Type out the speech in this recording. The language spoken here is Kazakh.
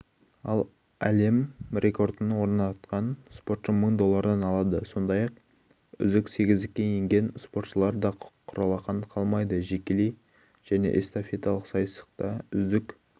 ал әлем рекордын орнатқан спортшы мың доллардан алады сондай-ақ үздік сегіздікке енген спортшылар да құралақан қалмайды жекелей және эстафеталық сайыста үздік